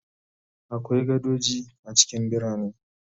Akwai gadoji a cikin birane